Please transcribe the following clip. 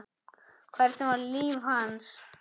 Hvernig var líf hans?